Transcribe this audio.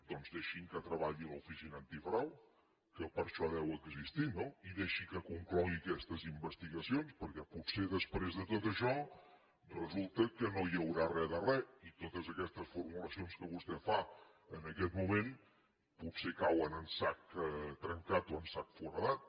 doncs deixin que treballi l’oficina antifrau que per això deu existir no i deixi que conclogui aquestes investigacions perquè potser després de tot això resulta que no hi haurà re de re i totes aquestes formulacions que vostè fa en aquest moment potser cauen en sac trencat o en sac foradat